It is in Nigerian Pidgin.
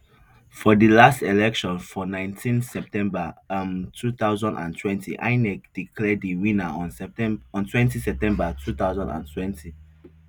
for di last election for nineteen september um two thousand and twenty inec declare di winner on twenty september two thousand and twenty